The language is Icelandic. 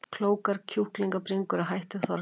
Klókar kjúklingabringur að hætti Þorgeirs